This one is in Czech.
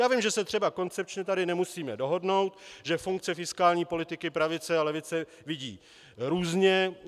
Já vím, že se třeba koncepčně tady nemusíme dohodnout, že funkce fiskální politiky pravice a levice vidí různě.